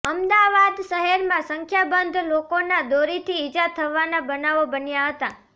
અમદાવાદ શહેરમાં સંખ્યાબંધ લોકોના દોરીથી ઇજા થવાના બનાવો બન્યા હતા